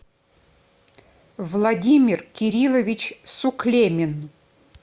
владимир кириллович суклемин